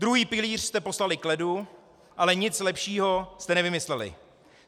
Druhý pilíř jste poslali k ledu, ale nic lepšího jste nevymysleli.